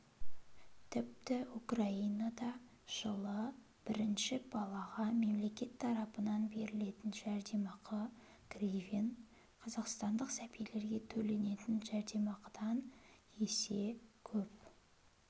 тіпті украинада жылы бірінші балаға мемлекет тарапынан берілетін жәрдемақы гривен қазақстандық сәбилерге төленетін жәрдемақыдан есе көп